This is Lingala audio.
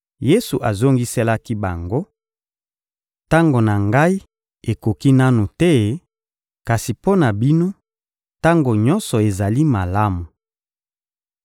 Yesu azongiselaki bango: — Tango na Ngai ekoki nanu te; kasi mpo na bino, tango nyonso ezali malamu.